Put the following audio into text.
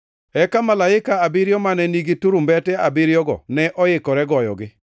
Eka malaike abiriyo mane nigi turumbete abiriyogo ne oikore goyogi.